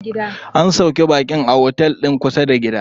An sauƙe baƙin a otel din kusa da gida.